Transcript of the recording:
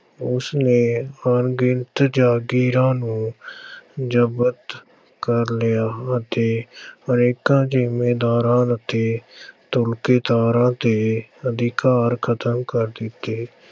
ਉਸਨੇ ਅਣਗਿਣਤ ਜਾਗੀਰਾਂ ਨੂੰ ਜ਼ਬਤ ਕਰ ਲਿਆ ਅਤੇ ਅਨੇਕਾਂ ਜ਼ਿੰਮੀਦਾਰਾਂ ਅਤੇ ਦਾਰਾਂ ਦੇ ਅਧਿਕਾਰ ਖ਼ਤਮ ਕਰ ਦਿੱਤੇ।